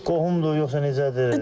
Qohumdur yoxsa necədir?